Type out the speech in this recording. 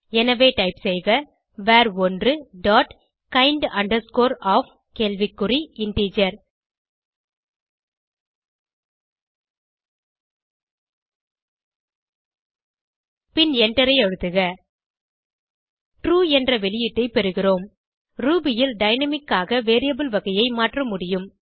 எனவே டைப் செய்க வர்1 டாட் kind of கேள்வி குறி இன்டிஜர் பின் எண்டரை அழுத்துக ட்ரூ என்ற வெளியீட்டை பெறுகிறோம் ரூபி ல் டைனாமிக் ஆக வேரியபிள் வகையை மாற்ற முடியும்